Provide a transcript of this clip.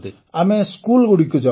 ଆମେ ସ୍କୁଲଗୁଡ଼ିକୁ ଯାଉ